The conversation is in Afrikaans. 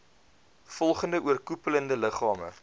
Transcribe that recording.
volgende oorkoepelende liggame